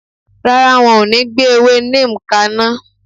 Rárá, won o ní gbé ewé neem kaná